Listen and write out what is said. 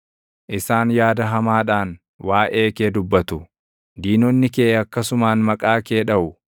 Isaan yaada hamaadhaan waaʼee kee dubbatu; diinonni kee akkasumaan maqaa kee dhaʼu.